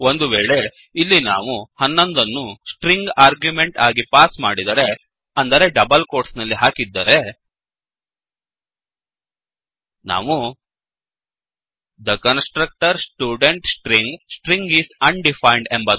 ಒಂದುವೇಳೆ ಇಲ್ಲಿ ನಾವು 11 ಅನ್ನು ಸ್ಟ್ರಿಂಗ್ ಆರ್ಗ್ಯುಮೆಂಟ್ ಆಗಿ ಪಾಸ್ ಮಾಡಿದರೆ ಅಂದರೆ ಡಬಲ್ ಕೋಟ್ಸ್ ಹಾಕಿದ್ದರೆ ನಾವು the constructor student string String is undefined